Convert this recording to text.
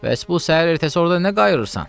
Bəs bu səhər ertəsi orda nə qayırsan?